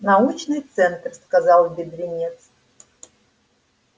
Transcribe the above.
научный центр сказал бедренец